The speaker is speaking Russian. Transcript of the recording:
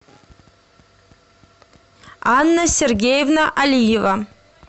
анна сергеевна алиева